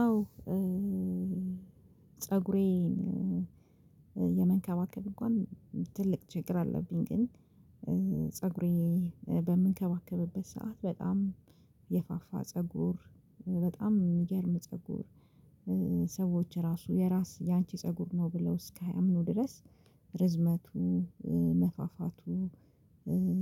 አዎ ፀጉሬን የመንከባከብ እንኳን ትልቅ ችግር አለብኝ። ግን ፀጉሬ በምንከባከብበት ሰዓት በጣም የፋፋ ፀጉር በጣም የሚግርም ፀጉር ሰዎች ራሱ የራስ ያንቺ ፀጉር ነው ብለው እስከ ማያምኑ ድረስ ርዝመቱ መፋፋቱ